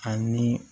Ani